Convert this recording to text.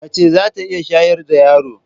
Mace za ta iya shayar da yaro.